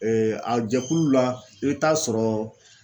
Ee a jɛkulu la e be t'a sɔrɔ